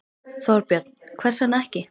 Þorbjörn: Hvers vegna ekki?